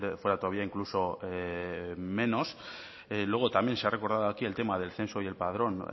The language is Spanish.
fuera todavía incluso menos luego también se ha recordado aquí el tema del censo y el padrón